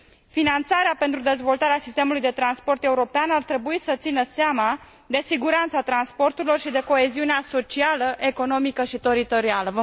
Finanțarea pentru dezvoltarea sistemului de transport european ar trebui să țină seama de siguranța transporturilor și de coeziunea socială, economică și teritorială.